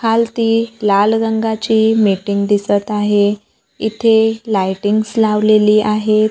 खालती लाल रंगाची मीटिंग दिसत आहे इथे लाइटिंग्स लावलेली आहेत.